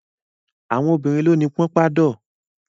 Àwọn obìnrin ló ni pọnpádọ̀.